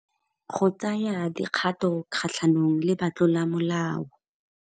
Go tsaya dikgato kgatlhanong le batlolamolao.